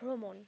ভ্রমণ,